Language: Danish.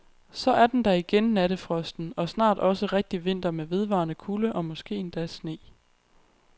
Så er den der igen nattefrosten og snart også rigtig vinter med vedvarende kulde og måske endda sne.